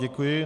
Děkuji.